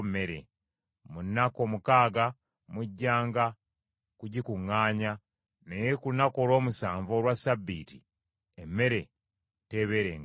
Mu nnaku omukaaga mujjanga kugikuŋŋaanya, naye ku lunaku olw’omusanvu, olwa Ssabbiiti, emmere teebeerengawo.”